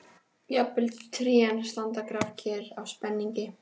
Jafnvel trén standa grafkyrr af spenningi.